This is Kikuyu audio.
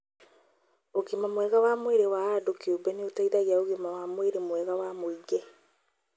ũgima mwega wa mwĩrĩ wa andũ kĩũmbe nĩ ũteithagia ũgima wa mwĩrĩ mwega wa mũingĩ